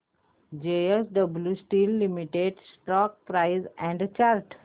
JSW Steel Limited stock price and chart